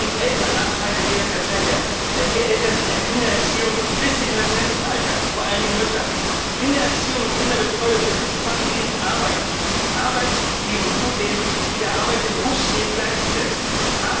Dadurch entstehen den Eltern Nachteile von der Zeit der Kindererziehung bis in das Rentenalter, vor allen Dingen Müttern. Kindererziehung und Kinderbetreuung, das ist Familienarbeit Arbeit, die der Arbeit im Berufsleben gleichzusetzen ist.